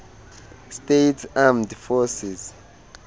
states armed forces